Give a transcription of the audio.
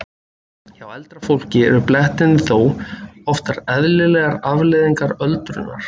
Hjá eldra fólki eru blettirnir þó oftar eðlilegrar afleiðingar öldrunar.